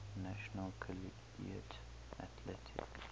national collegiate athletic